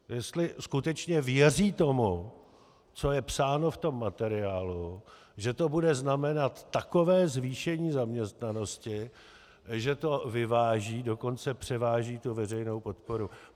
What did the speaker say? Jestli skutečně věří tomu, co je psáno v tom materiálu, že to bude znamenat takové zvýšení zaměstnanosti, že to vyváží, dokonce převáží tu veřejnou podporu.